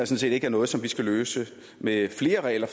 set ikke er noget som vi skal løse med flere regler